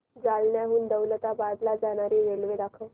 जालन्याहून दौलताबाद ला जाणारी रेल्वे दाखव